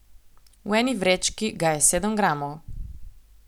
V eni vrečki ga je sedem gramov.